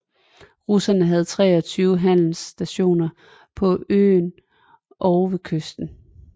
Russerne havde 23 handelsstationer på øerne og ved kysten